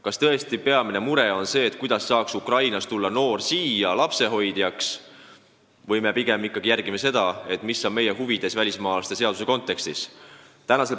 Kas tõesti on meie peamine mure, et Ukrainast saaks noored tulla siia lapsehoidjaks, või me pigem ikkagi järgime seda, mida välismaalaste seadus meie huvides lubama peaks?